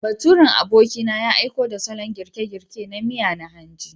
Baturen abokina ya aiko da salon girke-girke na miya na hanji.